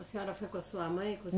A senhora foi com a sua mãe? Com